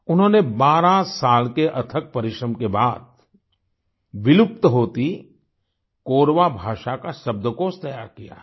उन्होंने 12 साल के अथक परिश्रम के बाद विलुप्त होती कोरवा भाषा का शब्दकोष तैयार किया है